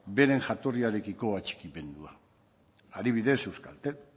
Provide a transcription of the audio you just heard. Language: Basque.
beren jatorriarekiko atxikimendua adibidez euskaltel